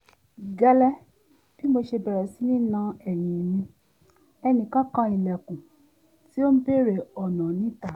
gẹ́lẹ́ bí mo ṣe bẹ̀rẹ̀ sí ní na ẹ̀yìn mi ẹnìkan kan ilẹ̀kùn tí ó ń bèrè ọ̀nà níta